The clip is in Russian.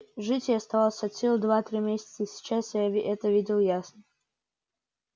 жить ей оставалось от силы два-три месяца сейчас я это видел ясно